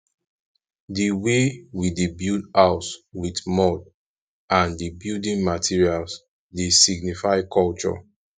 di way we dey build house with mud and di building materals dey signify culture